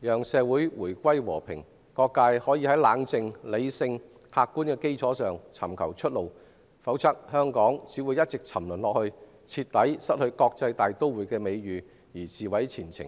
讓社會回歸和平，各界可以在冷靜、理性和客觀的基礎上尋求出路，否則香港只會一直沉淪，徹底失去國際大都會的美譽，自毀前程。